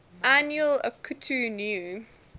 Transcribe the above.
annual akitu new